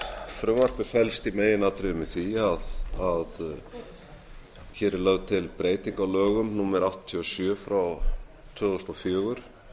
frumvarpið felst í meginatriðum í því að hér er lögð til breyting á lögum númer áttatíu og sjö tvö þúsund og fjögur